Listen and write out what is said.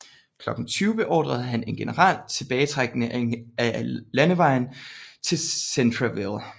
Klokken 20 beordrede han en generel tilbagetrækning ad landevejen til Centreville